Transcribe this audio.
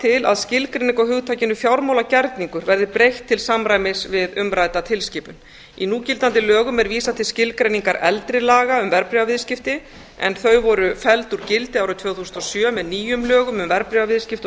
til að skilgreiningu á hugtakinu fjármálagerningur verði breytt til samræmis við umrædda tilskipun í núgildandi lögum er vísað til skilgreiningar eldri laga um verðbréfaviðskipti en þau voru felld úr gildi árið tvö þúsund og sjö með nýjum lögum um verðbréfaviðskipti og skilgreiningu